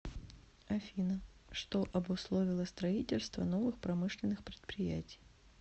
афина что обусловило строительство новых промышленных предприятий